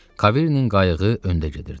Kaverinin qayığı öndə gedirdi.